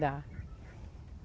Dá.